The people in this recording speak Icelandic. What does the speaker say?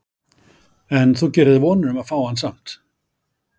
En þú gerir þér vonir um að fá hann samt?